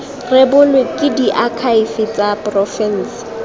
rebolwe ke diakhaefe tsa porofense